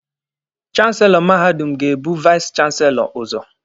Chanselọ mahadum ga-ebu vais chanselọ ụzọ.